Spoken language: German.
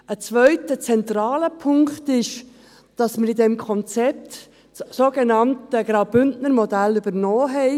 Ein zweiter zentraler Punkt ist, dass wir in diesem Konzept das sogenannte Bündner Modell übernommen haben.